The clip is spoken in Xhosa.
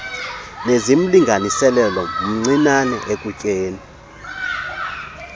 nezimlinganiselo mncinane ekutyeni